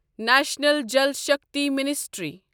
national Jal Shakti ministry